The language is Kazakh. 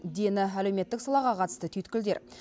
дені әлеуметтік салаға қатысты түйткілдер